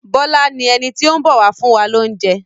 Bọ́lá ni ẹni tó ń bọ̀ wá fún wa lóúnjẹ.